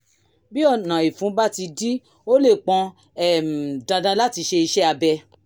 bí ọ̀nà ìfun bá ti dí ó lè pọn um dandan láti ṣe iṣẹ́-abẹ